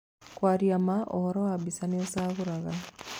Kwaria ma ũhũri wa mbica nĩũcagũraga